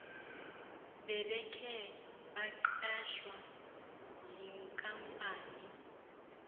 bebekhe baqeshwa yinkampani